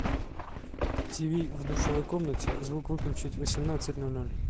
тиви в душевой комнате звук выключить в восемнадцать ноль ноль